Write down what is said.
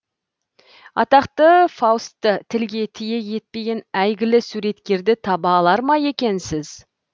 атақты фаустты тілге тиек етпеген әйгілі суреткерді таба алар ма екенсіз